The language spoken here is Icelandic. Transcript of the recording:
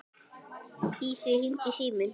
Í því hringdi síminn.